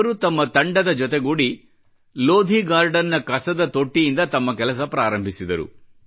ಇವರು ತಮ್ಮ ತಂಡದ ಜೊತೆಗೂಡಿ ಲೋಧಿ ಗಾರ್ಡನ್ ನ ಕಸದ ತೊಟ್ಟಿಯಿಂದ ತಮ್ಮ ಕೆಲಸ ಪ್ರಾರಂಭಿಸಿದರು